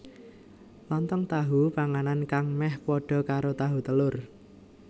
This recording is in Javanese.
Lontong tahu Panganan kang meh padha karo tahu telur